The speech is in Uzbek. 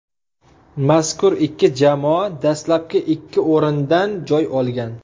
Mazkur ikki jamoa dastlabki ikki o‘rindan joy olgan.